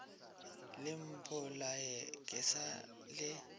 le mpolaye ke sa le